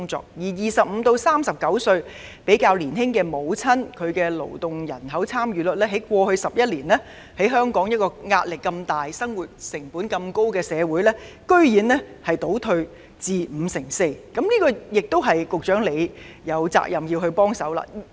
至於25至39歲較年輕母親的勞動參與率，在過去11年，於香港壓力如此大、生活成本這麼高的社會，居然倒退至 54%， 這是局長有責任正視的。